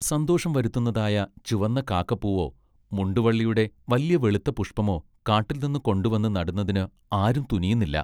സന്തോഷം വരുത്തുന്നതായ ചുവന്ന കാക്കപ്പൂവൊ മുണ്ടുവള്ളിയുടെ വല്യവെളുത്ത പുഷ്പമൊ കാട്ടിൽനിന്നുകൊണ്ടുവന്ന് നടുന്നതിന് ആരും തുനിയുന്നില്ല.